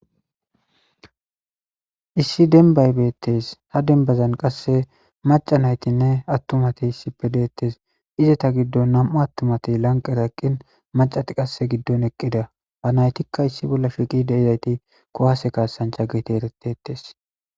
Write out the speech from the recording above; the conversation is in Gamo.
Issi denbaybeettes ha denbazan qasse maca naytinne attumatiy issi pedeettes izeta giddon nam7u attumatey lanqeraeqqin macati qasse giddon eqqida ba naytikka issi bolla shiqi deizayti kuwase kaasanca giti eretetes.